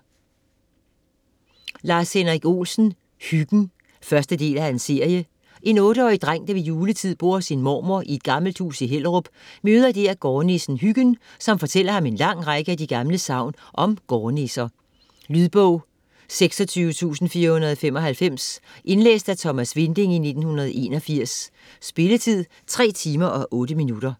Olsen, Lars-Henrik: Hyggen 1. del af serie. En 8-årig dreng, der ved juletid bor hos sin mormor i et gammelt hus i Hellerup, møder dèr gårdnissen Hyggen, som fortæller ham en lang række af de gamle sagn om gårdnisser. Lydbog 26495 Indlæst af Thomas Winding, 1981. Spilletid: 3 timer, 8 minutter.